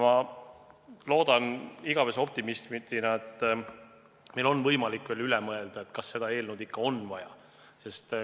Ma loodan igavese optimistina, et meil on võimalik selle üle veel mõelda.